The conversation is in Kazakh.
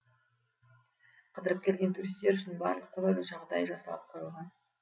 қыдырып келген туристтер үшін барлық қолайлы жағдай жасалып қойылған